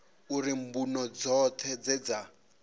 uri mbuno dzoṱhe dze dza